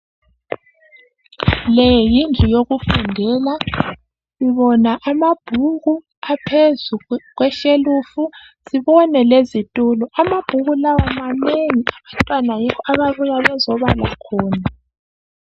Leyindlu yokufundela .Sibona amabhuku aphezu kweshelf .Sibone lezitulo .Amabhuku lawa manengi abantwana yikho ababuya bezobala khona .